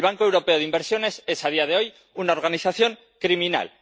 El Banco Europeo de Inversiones es a día de hoy una organización criminal.